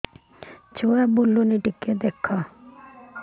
ଛୁଆ ବୁଲୁନି ଟିକେ ଦେଖ